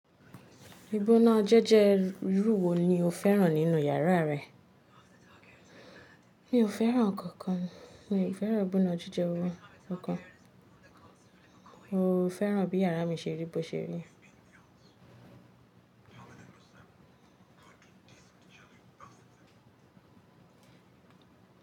Ibona jẹ́jẹrú wo ni o fẹ́ràn nínú yàrá rẹ? Mi ò fẹ́ràn nknkan, mi ò fẹ́ràn ìbóna jíjẹ ohun ọ̀kan. Mo fẹ́ràn bí yàrá mi ṣe rí bó ṣe rí.